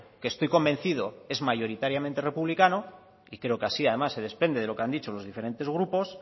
que estoy convencido es mayoritariamente republicano y creo que así además se desprende de lo que han dicho los diferentes grupos